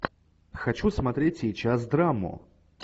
хочу смотреть сейчас драму